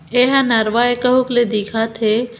ऐ हा नरवा ए कहुक ले दिखत हे।